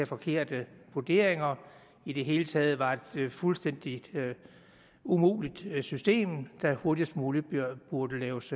forkerte vurderinger i det hele taget var et fuldstændig umuligt system der hurtigst muligt burde laves